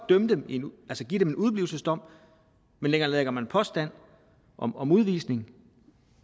give dem en udeblivelsesdom men nedlægger man påstand om om udvisning